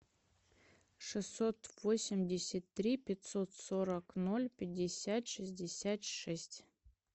шестьсот восемьдесят три пятьсот сорок ноль пятьдесят шестьдесят шесть